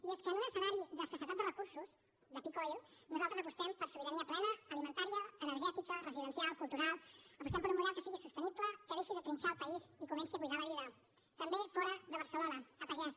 i és que en un escenari d’escassedat de recursos de peak oil nosaltres apostem per sobirania plena alimentària energètica residencial cultural apostem per un model que sigui sostenible que deixi de trinxar el país i comenci a cuidar la vida també fora de barcelona a pagès